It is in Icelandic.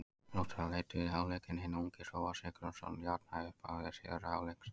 Þróttarar leiddu í hálfleik en hinn ungi Hróar Sigurðsson jafnaði í upphafi síðari hálfleiks.